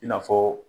I n'a fɔ